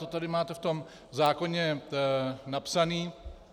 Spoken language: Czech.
To tady máte v tom zákoně napsané.